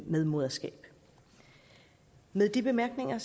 medmoderskab med de bemærkninger